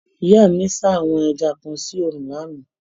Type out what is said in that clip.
Ìyá mi sá àwọn ẹja kan sí òòrùn lánàá.